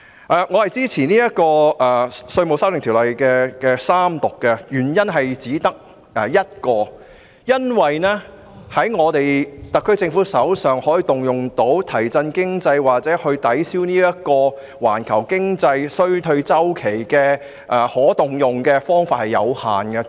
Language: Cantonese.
我支持三讀《條例草案》的原因只有一個，就是特區政府可以動用作為提振經濟或抵銷環球經濟衰退的方法有限。